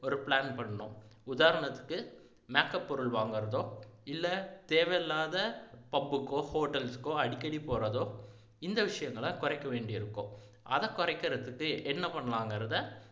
ஒரு plan பண்ணணும் உதாரணத்துக்கு makeup பொருள் வாங்குறதோ இல்லை தேவையில்லாத pub க்கோ hotel க்கோ அடிக்கடி போறதோ இந்த விசயங்களை குறைக்க வேண்டி இருக்கும் அதை குறைக்கிறதுக்கு என்ன பண்ணலாங்கிறத